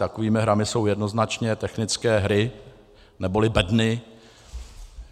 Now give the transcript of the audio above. Takovými hrami jsou jednoznačně technické hry neboli bedny.